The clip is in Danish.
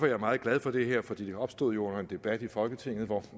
jeg meget glad for det her for det opstod under en debat i folketinget hvor